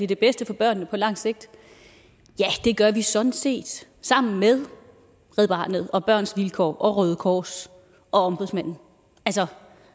det bedste for børnene på langt sigt ja det gør vi sådan set sammen med red barnet og børns vilkår og røde kors og ombudsmanden